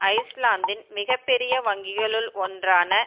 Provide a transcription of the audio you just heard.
ஐஸ்லாந்தின் மிக பெரிய வங்கிகளுள் ஒன்றான